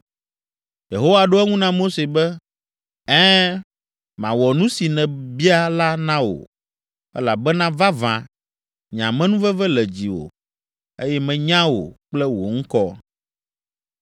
Yehowa ɖo eŋu na Mose be, “Ɛ̃, mawɔ nu si nèbia la na wò, elabena vavã, nye amenuveve le dziwò, eye menya wò kple wò ŋkɔ.”